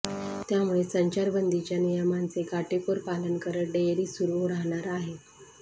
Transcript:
त्यामुळे संचारबंदीच्या नियमांचे काटेकोर पालन करत डेअरी सुरु राहणार आहे